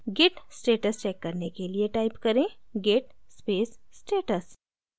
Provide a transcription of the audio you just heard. git status check करने के लिए type करें git space status